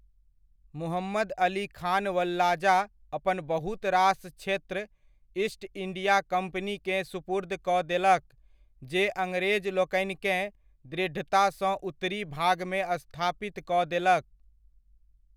मुहम्मद अली खान वल्लाजा अपन बहुत रास क्षेत्र ईस्ट इण्डिया कम्पनीकेँ सुपुर्द कऽ देलक, जे अङ्ग्रेजलोकनिकेँ दृढ़तासँ उत्तरी भागमे स्थापितकऽ देलक।